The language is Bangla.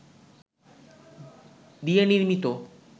দিয়ে নির্মিত